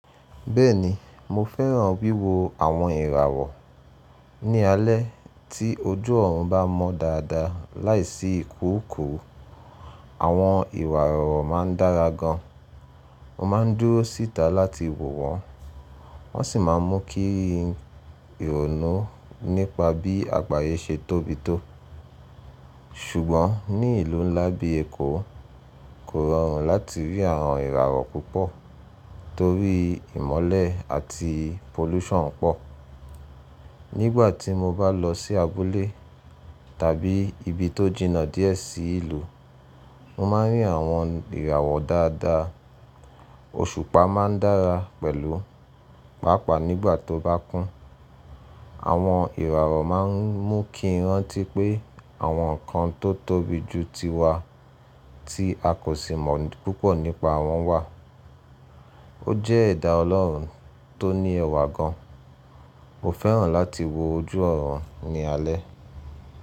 Bẹ́ẹ̀ni mo fẹ́ràn wíwo àwọn ìràwọ̀. Ní alẹ́ tí ojú ọ̀run bá mọ́ dáadáa láìsí ìkúrùkùrù, àwọn ìràwọ̀ máa ń dára gan. Mo máa ń dúró síta láti wò wọ́n, wọ́n sì máa ń mú kí ìrònú nípa bí àgbáyé ṣe tóbi tó. Ṣùgbọ́n ní ìlú ńlá bíi Èkó, kò rọrùn láti rí àwọn ìràwọ̀ púpọ̀ torí ìmọ́lẹ̀ àti pollution pọ̀. Nígbà tí mo bá lọ sí abúlé tàbí ibi tó jìnnà díẹ̀ sí ìlú, mo máa ń rí àwọn ìràwọ̀ dáadáa. Òṣùpá máa ń dára pẹ̀lú, pàápàá nígbà tó bá kún. Àwọn ìràwọ̀ máa ń mú kí n rántí pé àwọn nǹkan tó tóbi jù tiwa tí a kò sì mọ̀ púpọ̀ nípa wọn wà. Ó jẹ́ ẹ̀dà Ọlọ́run tó ní ẹwà gan. Mo fẹ́ràn láti wo ojú ọ̀run ní alẹ́.